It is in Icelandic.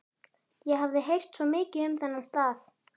Ég hafði heyrt svo mikið um þennan stað.